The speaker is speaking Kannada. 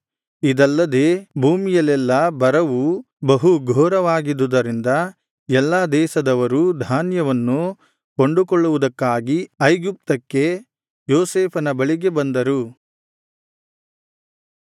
ಇದಲ್ಲದೆ ಭೂಮಿಯಲ್ಲೆಲ್ಲಾ ಬರವು ಬಹುಘೋರವಾಗಿದುದರಿಂದ ಎಲ್ಲಾ ದೇಶದವರೂ ಧಾನ್ಯವನ್ನು ಕೊಂಡುಕೊಳ್ಳುವುದಕ್ಕಾಗಿ ಐಗುಪ್ತಕ್ಕೆ ಯೋಸೇಫನ ಬಳಿಗೆ ಬಂದರು